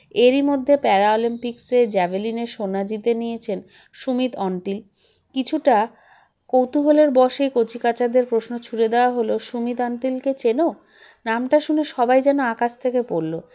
এরই মধ্যে প্যারাঅলিম্পিক্সে জ্যাভেলিনে সোনা জিতে নিয়েছেন সুমিত অন্টিল কিছুটা কৌতূহলের বশেই কচিকাঁচাদের প্রশ্ন ছুড়ে দেওয়া হলো সুমিত অন্টিলকে চেন নামটা শুনে সবাই যেন আকাশ থেকে পড়ল